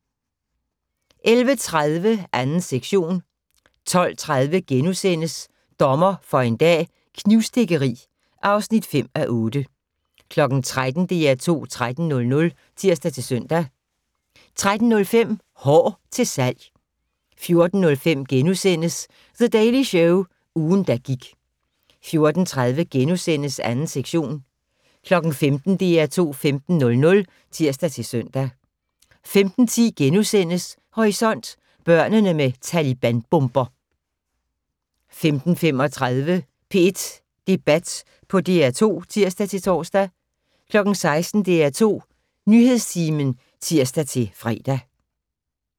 11:30: 2. sektion 12:30: Dommer for en dag - knivstikkeri (5:8)* 13:00: DR2 13:00 (tir-søn) 13:05: Hår til salg 14:05: The Daily Show - ugen, der gik * 14:30: 2. sektion * 15:00: DR2 15:00 (tir-søn) 15:10: Horisont: Børnene med Taliban-bomber * 15:35: P1 Debat på DR2 (tir-tor) 16:00: DR2 Nyhedstimen (tir-fre)